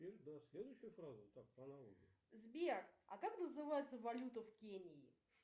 сбер а как называется валюта в кении